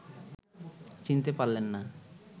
চিনতে পারলেন না